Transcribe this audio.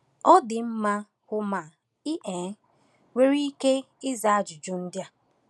Ọ dị mma, hụ ma i um nwere ike ịza ajụjụ ndị a: